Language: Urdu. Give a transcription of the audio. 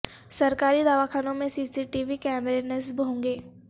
سرکاری دواخانوں میں سی سی ٹی وی کیمرے نصب ہونگے